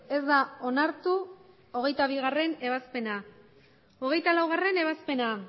ez da onartu hogeita bigarrena ebazpena hogeita laugarrena ebazpena